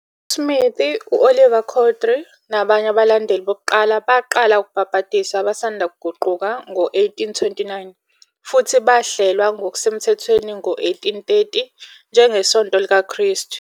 USmith, u-Oliver Cowdery, nabanye abalandeli bokuqala baqala ukubhabhadisa abasanda kuguquka ngo-1829 futhi bahlelwa ngokusemthethweni ngo-1830 njengeSonto likaKristu.